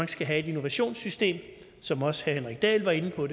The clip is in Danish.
skal have et innovationssystem som også herre henrik dahl var inde på